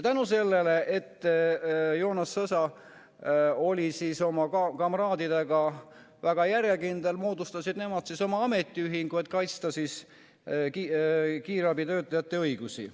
Tänu sellele, et Joonas Sõsa oli oma kamraadidega väga järjekindel, moodustasid nad oma ametiühingu, et kaitsta kiirabitöötajate õigusi.